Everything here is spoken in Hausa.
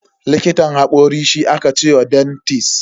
Likitan hakori shi aka ce wa dentist.